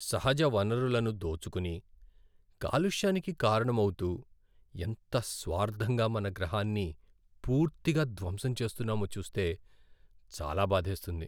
సహజ వనరులను దోచుకుని, కలుష్యానికి కారణం అవుతూ, ఎంత స్వార్ధంగా మన గ్రహాన్ని పూర్తిగా ధ్వంసం చేస్తున్నామో చూస్తే చాలా భాధేస్తుంది.